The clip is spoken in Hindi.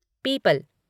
पीपल